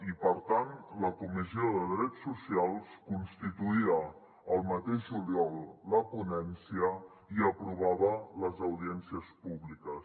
i per tant la comissió de drets socials constituïa el mateix juliol la ponència i aprovava les audiències públiques